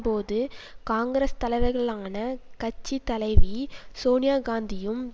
போது காங்கிரஸ் தலைவர்களான கட்சி தலைவி சோனியா காந்தியும்